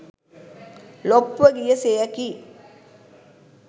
ලොප්ව ගිය සෙයකි.